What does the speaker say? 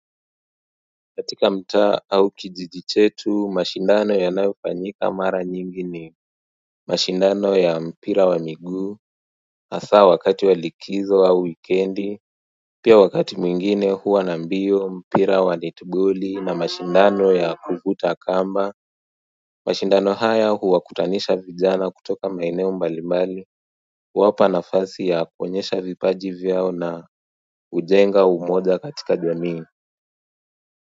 Katika mtaa au kijiji chetu, mashindano ya nayo fanyika mara nyingi ni mashindano ya mpira wa miguu, hasa wakati wa likizo au wikendi pia wakati mwingine huwa na mbio, mpira wa net boli na mashindano ya kuvuta kamba mashindano haya huwakutanisha vijana kutoka maeneo mbali mbali kuwapa nafasi ya kuonyesha vipaji vyao na kujenga umoja katika jamii.